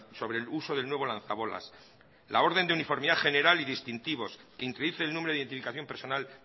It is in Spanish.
sobre el uso del nuevo lanzabolas la orden de uniformidad general y distintivos que introduce el número de identificación personal